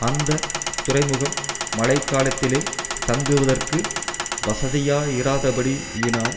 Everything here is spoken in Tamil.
அந்த துறைமுகம் மழைகாலத்திலே தங்குவதற்கு வசதியாயிராதபடியினால்